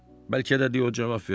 Bəlkə də de o cavab verdi.